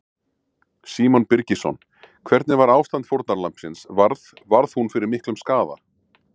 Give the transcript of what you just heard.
Símon Birgisson: Hvernig var ástand fórnarlambsins, varð, varð hún fyrir miklum skaða?